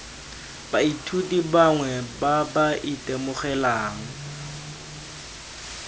baithuti bangwe ba ba itemogelang